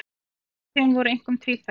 Áhrifin voru einkum tvíþætt